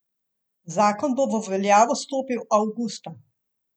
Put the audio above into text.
Zakon bo v veljavo stopil avgusta.